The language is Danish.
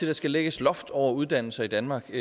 der skal lægges loft over uddannelser i danmark